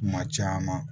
Kuma caman